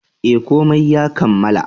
E, komai ya kammala.